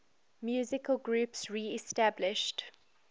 musical groups reestablished